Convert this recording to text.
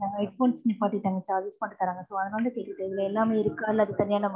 head phones நிப்பாட்டிட்டாங்க sir so அதனால கேட்டுட்டு, இதுல எல்லாமே இருக்கு, அல்லது தனியா நம்ம இதை வாங்கணும்.